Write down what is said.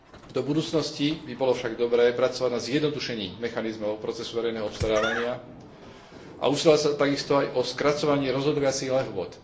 Do budúcnosti by bolo však dobré pracovať na zjednodušení mechanizmov procesu verejného obstarávania a usilovať sa takisto aj o skracovanie rozhodovacích lehôt.